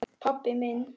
Pabbi minn?